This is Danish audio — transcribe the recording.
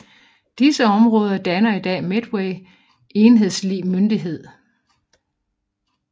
Disse områder danner i dag Medway enhedslig myndighed